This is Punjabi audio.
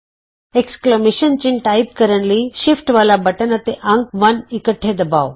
ਵਿਸਮਤ ਚਿੰਨ੍ਹ ਟਾਈਪ ਕਰਨ ਲਈ ਸ਼ਿਫਟ ਵਾਲਾ ਬਟਨ ਅਤੇ ਅੰਕ 1 ਇਕੱਠੇ ਦਬਾਉ